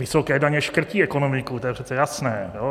Vysoké daně škrtí ekonomiku, to je přece jasné.